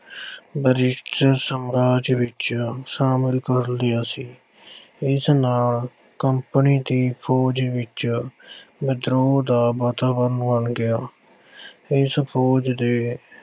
British ਸਾਮਰਾਜ ਵਿੱਚ ਸ਼ਾਮਲ ਕਰ ਲਿਆ ਸੀ। ਇਸ ਨਾਲ company ਦੀ ਫ਼ੌਜ ਵਿੱਚ ਵਿਦਰੋਹ ਦਾ ਵਾਤਾਵਰਣ ਬਣ ਗਿਆ। ਇਸ ਫ਼ੌਜ ਦੇ